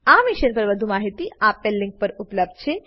આ મિશન પર વધુ માહિતી આપેલ લીંક પર ઉપલબ્ધ છે